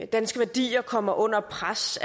danske værdier kommer under pres